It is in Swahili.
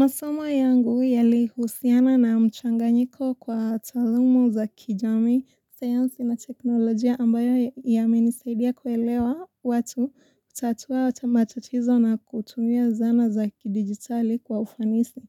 Masomo yangu yalihusiana na mchanganyiko kwa talumu za kijamii sayansi na teknolojia ambayo yamenisaidia kuelewa watu kutatuwa matatizo na kutumia zana za kidigitali kwa ufanisi.